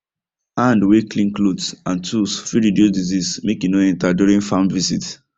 hand way clean clothes and tools fit reduce disease make e no enter during farm visit